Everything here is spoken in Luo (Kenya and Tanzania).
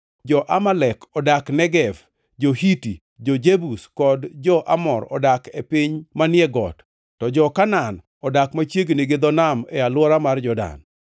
Jo-Amalek odak Negev; jo-Hiti, jo-Jebus kod jo-Amor odak e piny manie got; to jo-Kanaan odak machiegni gi dho nam e alwora mar Jordan.”